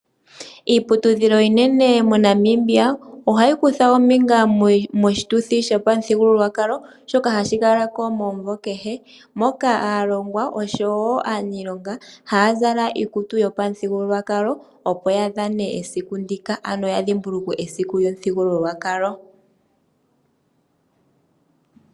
Iiputudhio iinene moNamibia, oha yi kutha ombinga mo shituthi panuthi sho pamululwakalo, shoka hashi kala ko omunvo kehe, moka aalongwa osho wo aaniilonga ha haya zala iikutu yo pamuthigululwakalo, opo ya dhane esiku ndika, ano ya dhimbulukwe esiku ndika lyo pamuthigulukwakalo .